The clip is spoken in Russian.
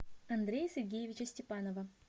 андрея сергеевича степанова